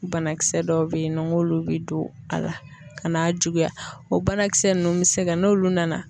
Banakisɛ dɔw bɛ yen nɔ n k'olu bɛ don a la ka n'a juguya o banakisɛ ninnu bɛ se ka n'olu nana